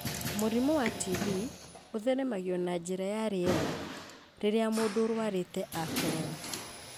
Mũrimũ wa TB ũtheremagio na njĩra ya rĩera rĩrĩa mũndũ ũrũarĩte akorora,